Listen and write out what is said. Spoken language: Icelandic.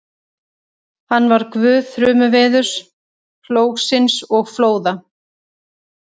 Hann var guð þrumuveðurs, plógsins og flóða.